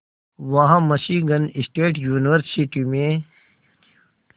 वहां Michigan state university में